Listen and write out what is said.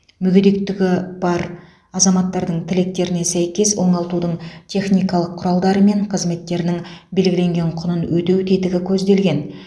мүгедектігі бар азаматтардың тілектеріне сәйкес оңалтудың техникалық құралдары мен қызметтерінің белгіленген құнын өтеу тетігі көзделген